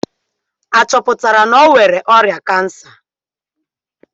A chọpụtara na o nwere ọrịa kansa?